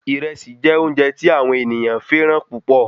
Ìrẹsì jẹ óúnje tí àwọn ènìyàn féràn púpò